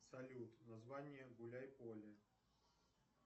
салют название гуляй поле